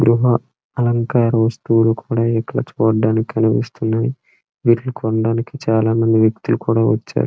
గృహా అలంకార వస్తువులు కూడా ఇక్కడ చూడ్డానికి కనిపిస్తున్నాయి వీటిని కొనడానికి చాలా మంది వ్యక్తులు కూడా వచ్చారు.